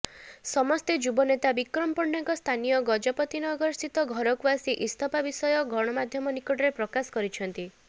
ସମସ୍ତେ ଯୁବନେତା ବିକ୍ରମ ପଣ୍ଡାଙ୍କ ସ୍ଥାନୀୟ ଗଜପତିନଗରସ୍ଥିତ ଘରକୁ ଆସି ଇସ୍ତଫା ବିଷୟ ଗଣମାଧ୍ୟମ ନିକଟରେ ପ୍ରକାଶ କରିଛନ୍ତିି